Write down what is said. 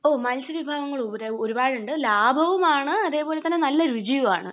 ഓഹ്. മൽസ്യ വിഭവങ്ങൾ ഒരുപാടുണ്ട്. ലാഭവുമാണ് അതേ പോലെ തന്നെ നല്ല രുചിയുമാണ്.